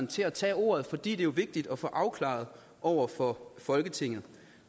til at tage ordet fordi det jo er vigtigt at få afklaret over for folketinget